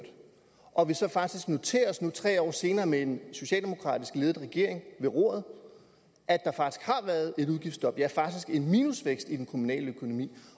og at vi så faktisk nu tre år senere med en socialdemokratisk ledet regering ved roret har været et udgiftsstop ja faktisk en minusvækst i den kommunale økonomi